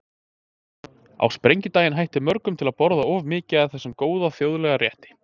Á sprengidaginn hættir mörgum til að borða of mikið af þessum góða þjóðlega rétti.